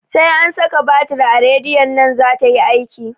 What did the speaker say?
Sai an saka batir a radiyon nan zata yi aiki